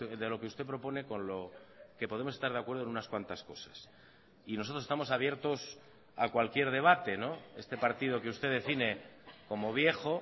de lo que usted propone con lo que podemos estar de acuerdo en unas cuantas cosas y nosotros estamos abiertos a cualquier debate este partido que usted define como viejo